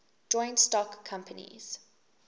joint stock companies